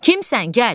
Kimsən, gəl!